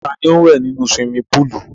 Ta ni ó wẹ̀ nínú suwimi púùlù?